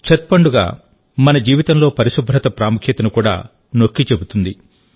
ఛత్ పండుగ మన జీవితంలో పరిశుభ్రత ప్రాముఖ్యతను కూడా నొక్కి చెబుతుంది